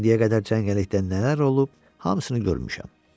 İndiyə qədər cəngəllikdə nələr olub, hamısını görmüşəm.